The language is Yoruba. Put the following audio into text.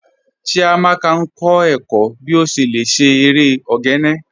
Chíamaka n kọ ẹ̀kọ̀ bí o ṣé lẹ̀ ṣé èrè ogene